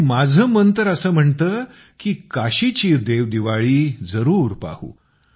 आणि माझं मन तर असं म्हणतं की काशीची देवदिवाळी जरूर पाहू